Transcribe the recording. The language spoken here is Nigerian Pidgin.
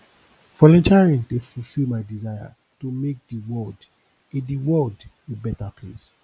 volunteering dey fulfill my desire to make the world a the world a better place